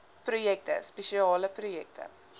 projekte spesiale projekte